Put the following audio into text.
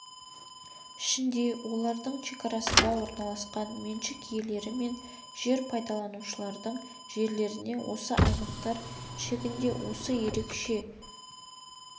ішінде олардың шекарасында орналасқан меншік иелері мен жер пайдаланушылардың жерлеріне осы аймақтар шегінде осы ерекше